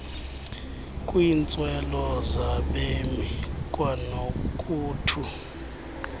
kwiintswelo zabemi kwanokuthu